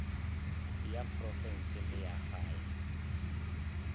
ya profense le ya gae